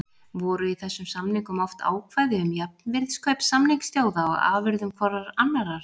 Voru í þessum samningum oft ákvæði um jafnvirðiskaup samningsþjóða á afurðum hvorrar annarrar.